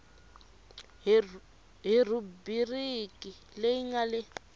hi rhubiriki leyi nga le